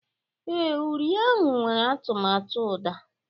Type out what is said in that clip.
Ee, uri ahụ nwere atụmatụ uda